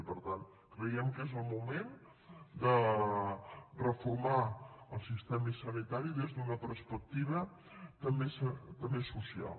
i per tant creiem que és el moment de reformar el sistema sanitari des d’una perspectiva també social